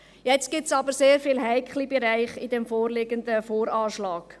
Jetzt gibt es jedoch sehr viele heikle Bereiche in diesem VA.